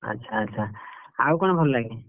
ଆଚ୍ଛା ଆଚ୍ଛା ଆଉ କଣ ଭଲ ଲାଗେ?